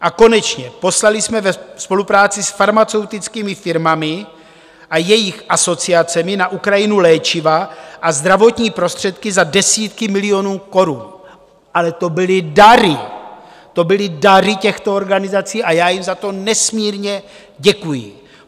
A konečně - poslali jsme ve spolupráci s farmaceutickými firmami a jejich asociacemi na Ukrajinu léčiva a zdravotní prostředky za desítky milionů korun, ale to byly dary, to byly dary těchto organizací a já jim za to nesmírně děkuji.